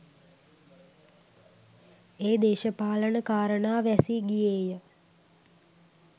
ඒ දේශපාලන කාරණා වැසී ගියේය